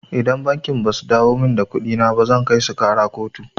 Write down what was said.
Idan bankin basu dawo min da kuɗina ba zan kaisu ƙara kotu.